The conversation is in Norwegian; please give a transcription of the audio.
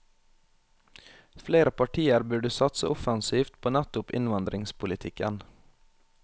Flere partier burde satse offensivt på nettopp innvandringspolitikken.